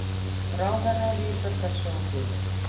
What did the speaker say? Ráðherra vísar þessu á bug.